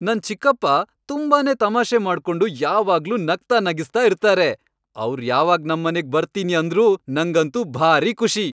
ನನ್ ಚಿಕ್ಕಪ್ಪ ತುಂಬಾನೇ ತಮಾಷೆ ಮಾಡ್ಕೊಂಡು ಯಾವಾಗ್ಲೂ ನಗ್ತಾ ನಗಿಸ್ತಾ ಇರ್ತಾರೆ, ಅವ್ರ್ ಯಾವಾಗ್ ನಮ್ಮನೆಗ್ ಬರ್ತೀನಿ ಅಂದ್ರೂ ನಂಗಂತೂ ಭಾರೀ ಖುಷಿ.